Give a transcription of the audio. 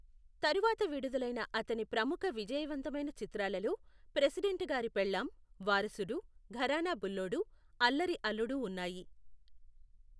తరువాత విడుదలైన అతని ప్రముఖ విజయవంతమైన చిత్రాలలో ప్రెసిడెంట్ గారి పెళ్ళాం, వారసుడు, ఘరానా బుల్లోడు, అల్లరి అల్లుడు ఉన్నాయి.